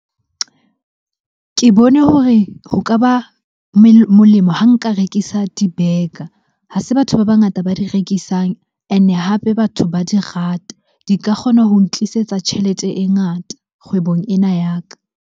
Ke bone hore ho ka ba molemo ha nka rekisa di-burger. Ha se batho ba bangata ba di rekisang and-e hape batho ba di rata. Di ka kgona ho ntlisetsa tjhelete e ngata kgwebong ena ya ka.